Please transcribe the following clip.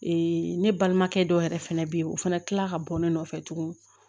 ne balimakɛ dɔw yɛrɛ fɛnɛ bɛ yen o fana kila ka bɔ ne nɔfɛ tuguni